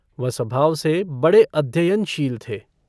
वह स्वभाव से बड़े अध्ययनशील थे।